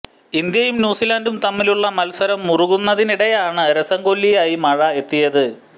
ഇന്ത്യയും ന്യൂസിലന്ഡും തമ്മിലുള്ള മത്സരം മുറുകുന്നതിനിടെയാണ് രസംകൊല്ലിയായി മഴ എത്തിയത്